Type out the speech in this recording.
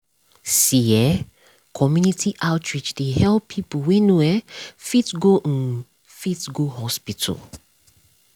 see eh community outreach dey help people wey no um fit go um fit go hospital.